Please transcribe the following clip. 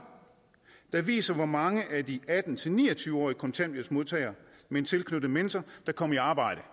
der viser hvor mange af de atten til ni og tyve årige kontanthjælpsmodtagere med en tilknyttet mentor der kom i arbejde